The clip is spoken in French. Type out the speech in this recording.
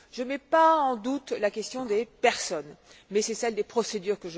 Je ne mets pas en doute la question des personnes, mais celle des procédures.